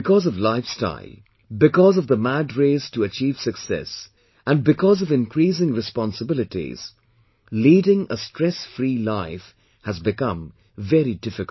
Because of life style, because of the mad race to achieve success and because of increasing responsibilities, leading a stress free life has become very difficult